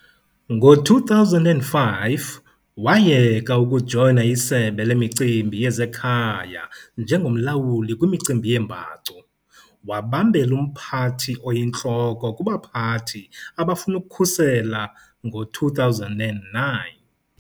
Ngo-2005 wayeka ukujoyina iSebe leMicimbi yezeKhaya njengomlawuli kwimicimbi yeembacu, wabambela umphathi oyintloko kubaphathi abafuna ukukhusela ngo-2009.